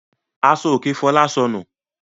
Aṣọòkè Fọlá sọnù.